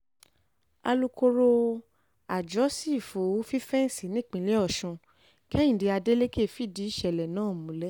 alūkkóró àjọ sífù fífẹ́ǹsì nípìnlẹ̀ ọ̀sùn kẹ́hìndẹ́ adélèké fìdí ìṣẹ̀lẹ̀ náà múlẹ̀